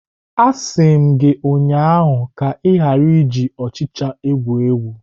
Asi m gi ụnyahụ ka ị ghara iji ọchịcha egwu egwu!